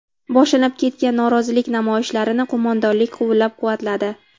Boshlanib ketgan norozilik namoyishlarini qo‘mondonlik qo‘llab-quvvatladi.